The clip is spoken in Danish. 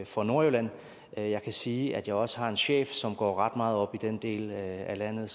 for nordjylland jeg kan sige at jeg også har en chef som går ret meget op i den del af landet